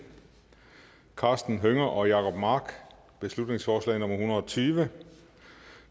karsten hønge og jacob mark beslutningsforslag nummer b en hundrede og tyve